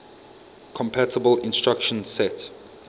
compatible instruction set